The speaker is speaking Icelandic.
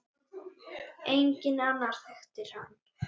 Enginn annar þekkti hann.